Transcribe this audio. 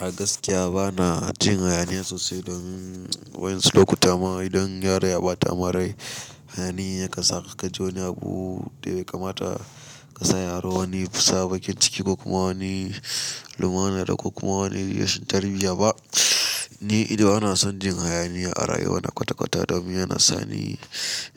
A gaskiya bana jin hayaniya sosai don wani lokuta ma idan yaro ya ɓata mi rai, hayani ya kansaka ka ji abu da ya kamata ka sa yaro wani fusa bakin ciki ko kuma wani lumana da ko kuma wani rashin tarbiyya ba. Ni idon ana son jin hayaniya a rayuwa na kwata-kwata domin yana sani